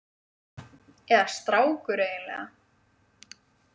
Eða strákur eiginlega.